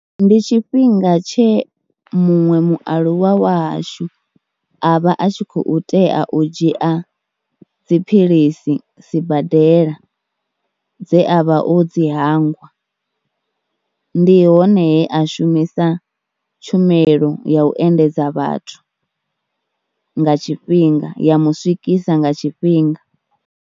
Ndi tshifhinga tshe muṅwe mualuwa wa hashu a vha a tshi khou tea u dzhia dziphilisi sibadela, dze a vha o dzi hangwa. Ndi hone he a shumisa tshumelo ya u endedza vhathu nga tshifhinga ya mu swikisa nga tshifhinga.